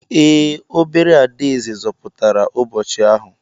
Ee, obere adaeze zọpụtara ụbọchị ahụ.